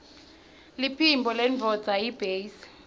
liphimbo lendvodza yiytbase